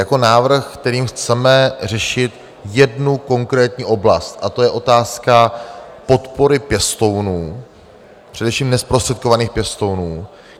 - jako návrh, kterým chceme řešit jednu konkrétní oblast, a to je otázka podpory pěstounů, především nezprostředkovaných pěstounů.